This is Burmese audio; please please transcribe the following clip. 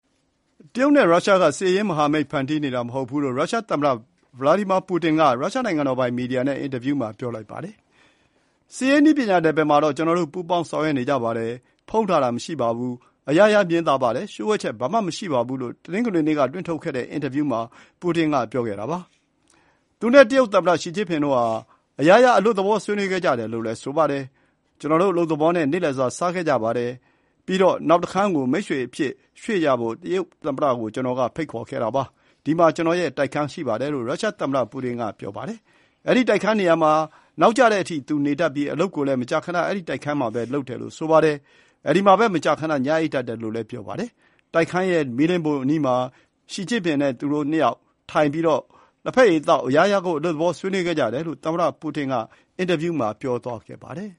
တရုတ်နဲ့ရုရှားက စစ်ရေးမဟာမိတ် ဖန်တီးနေတာမဟုတ်ဘူးလို့ ရုရှားသမ္မတ ဗလာဒီမာပူတင်က ရုရှားနိုင်ငံတော်ပိုင်မီဒီယာနဲ့ အင်တာဗျူးမှာ ပြောပါတယ်။ “စစ်ရေး နည်းပညာနယ်ပယ်မှာတော့ ကျနော်တို့ ပူးပေါင်းဆောင်ရွက်နေကြပါတယ်။ ဖုံးထားတာ မရှိပါဘူး။ အရာရာ မြင်သာပါတယ်။ လျှို့ဝှက်ချက် ဘာမှ မရှိပါဘူး” လို့ တနင်္ဂနွေနေ့က လွှင့်ထုတ်တဲ့အင်တာဗျူးမှာ ပူတင်က ပြောပါတယ်။ သူ နဲ့ တရုတ်သမ္မတရှီကျင့်ဖျင်တို့ဟာ အရာရာ အလွတ်သဘော ဆွေးနွေးခဲ့ကြတယ်လို့ သူက ပြောပါတယ်။ “ကျနော်တို့ အလုပ်သဘော နေ့လည်စာ စားခဲ့ကြပါတယ်။ ပြီးတော့ နောက်တခန်းကို မိတ်ဆွေအဖြစ်ရွှေ့ကြဖို့ တရုတ်သမ္မတကို ကျနော်က ဖိတ်ခေါ်ခဲ့တာပါ။ ဒီမှာ ကျနော့်ရဲ့တိုက်ခန်း ရှိပါတယ်။” လို့ ရုရှားသမ္မတပူတင်က ပြောပါတယ်။ အဲဒီနေရာမှာ နောက်ကျတဲ့အထိ သူနေတတ်ပြီး အလုပ်ကိုလည်း မကြာခဏ အဲဒီတိုက်ခန်းမှာပဲ လုပ်တယ်လို့ ဆိုပါတယ်။ အဲဒီမှာပဲ မကြာခဏ ညအိပ်တတ်တယ်လို့ ဆိုပါတယ်။ တိုက်ခန်းရဲ့မီးလင်းဖိုအနီးမှာ သူတို့ ၂ ယောက် ထိုင်ပြီး လက်ဘက်ရည်သောက်၊ အရာရာကို အလွတ်သဘော ဆွေးနွေးခဲ့ကြတယ်လို့ သမ္မတပူတင်က အင်တာဗျူးမှာ ပြောသွားခဲ့ပါတယ်